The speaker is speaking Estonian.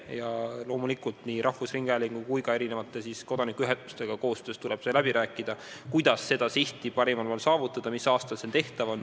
Ja loomulikult nii rahvusringhäälingu kui ka erinevate kodanikuühendustega koostöös tuleb läbi rääkida, kuidas saavutada see siht parimal moel ja mis aastal see tehtav on.